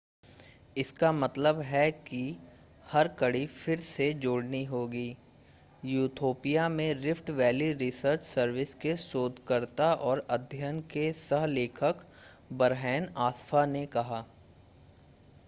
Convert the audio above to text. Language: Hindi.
इसका मतलब है कि इस की हर कड़ी फिर से जोड़नी होगी ईथोपिया में रिफ़्ट वैली रिसर्च सर्विस के शोधकर्ता और अध्ययन के सह-लेखक बरहेन अस्फ़ॉ ने कहा